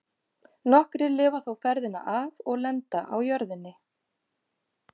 Nokkrir lifa þó ferðina af og lenda á jörðinni.